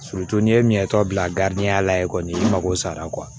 n'i ye min ye tɔ bila ya la yen kɔni i mako sara